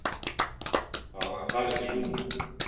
Þá hafði hann farið til Lúnu.